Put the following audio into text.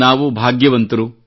ನಾವು ಭಾಗ್ಯವಂತರು